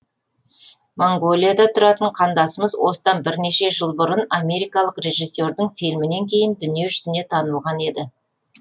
моңғолияда тұратын қандасымыз осыдан бірнеше жыл бұрын америкалық режиссердің фильмінен кейін дүние жүзіне танылған еді